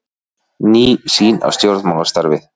Ný sýn á stjórnmálastarfið